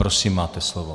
Prosím máte slovo.